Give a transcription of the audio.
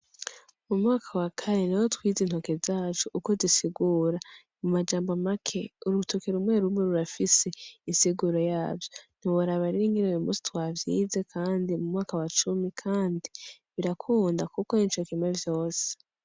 Mu mwaka wa kane niho twize intoki zacu uko zisigura. Mu majambo make, urutoke rumwe rumwe rurafise insiguro yavyo. Ntiworaba rero ingene uno musi twavyize kandi mu mwaka wa cumi kandi birakunda kuko nicokimwe vyose.